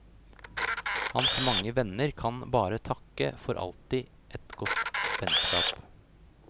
Hans mange venner kan bare takke for alltid et godt vennskap.